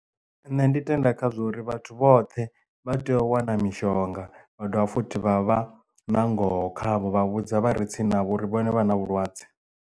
Nṋe ndi tenda khazwo uri vhathu vhoṱhe vha tea u wana mishonga vha dovha futhi vha vha na ngoho khavho vha vhudza vhare tsini navho uri vhone vha na vhulwadze.